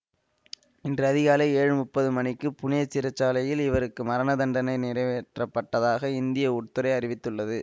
இன்று அதிகாலை ஏழு முப்பது மணிக்கு புனே சிறை சாலையில் இவருக்கு மரணதண்டனை நிறைவேற்றப்பட்டதாக இந்திய உட்துறை அறிவித்துள்ளது